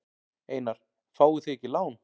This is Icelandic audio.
Einar: Fáið þið ekki lán?